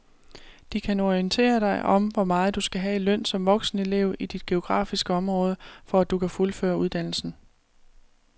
De kan orientere dig om hvor meget du skal have i løn som voksenelev i dit geografiske område, for at du kan fuldføre uddannelsen.